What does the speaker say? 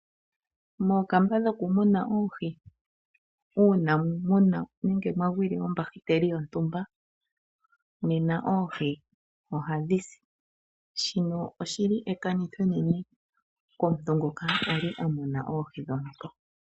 Moonkamba dhokumuna oohi uuna mwagwilwe ombahiteli yontumba oohi ohadhi si. Shika ekanitho enene komuntu ngoka ta muna oohi.